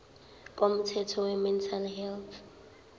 komthetho wemental health